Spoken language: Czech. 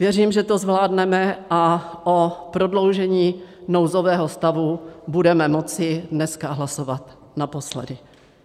Věřím, že to zvládneme a o prodloužení nouzového stavu budeme moci dneska hlasovat naposledy.